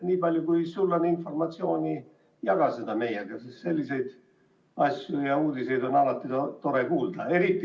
Nii palju, kui sul on informatsiooni, jaga seda meiega, sest selliseid asju ja uudiseid on alati tore kuulda.